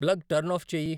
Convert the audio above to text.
plug turn off చేయి